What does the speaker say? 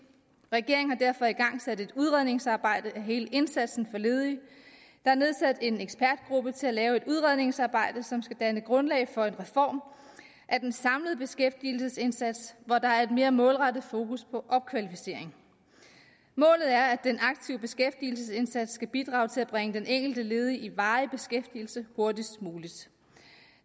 regeringen har derfor igangsat et udredningsarbejde af hele indsatsen for ledige der er nedsat en ekspertgruppe til at lave et udredningsarbejde som skal danne grundlag for en reform af den samlede beskæftigelsesindsats hvor der er et mere målrettet fokus på opkvalificering målet er at den aktive beskæftigelsesindsats skal bidrage til at bringe den enkelte ledige i varig beskæftigelse hurtigst muligt